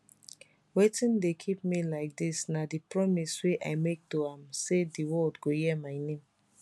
wetin dey keep me like dis na di promise wey i make to am say di world go hear my name